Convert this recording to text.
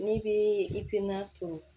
N'i bi i tɛ na to